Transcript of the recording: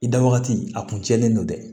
I da wagati a kun tiɲɛnen don dɛ